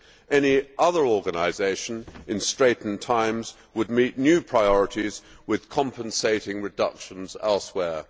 Any other organisation in straitened times would meet new priorities with compensating reductions elsewhere.